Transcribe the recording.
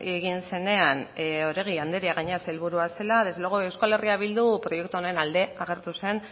egin zenean oregi andrea gainera sailburua zela desde luego euskal herria bildu proiektu honen alde agertu zen